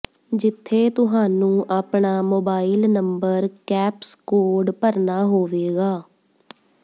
ਜਿੱਥੇ ਤੁਹਾਨੂੰ ਆਪਣਾ ਮੋਬਾਇਲ ਨੰਬਰ ਕੈਪਸ ਕੋਡ ਭਰਨਾ ਹੋਵੇਗਾ